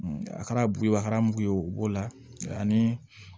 A kɛra bubakara mugu ye wo b'o la ani